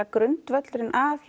grundvöllurinn að